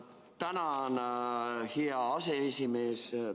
Tänan, hea aseesimees!